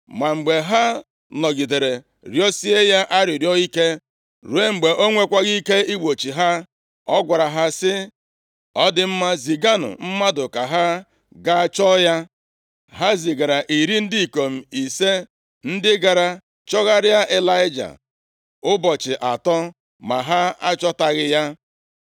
Ma mgbe ha nọgidere rịọsie ya arịrịọ ike, ruo mgbe o nwekwaghị ike igbochi ha. Ọ gwara ha sị, “Ọ dị mma, ziganụ mmadụ ka ha gaa chọọ ya.” Ha zigara iri ndị ikom ise, ndị gara chọgharịa Ịlaịja ụbọchị atọ, ma ha achọtaghị ya.